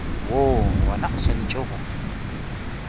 woo gona o swanetše go